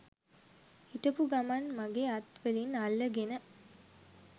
හිටපු ගමන් මගෙ අත් වලින් අල්ලගෙන